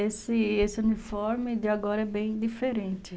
E esse esse uniforme de agora é bem diferente.